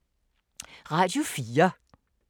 Radio 4